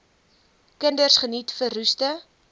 kinders geniet verroeste